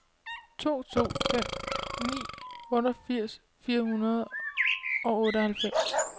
to to fem ni otteogfirs fire hundrede og otteoghalvfems